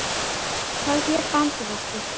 Hvað hét bandið aftur?